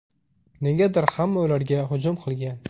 Negadir hamma ularga hujum qilgan.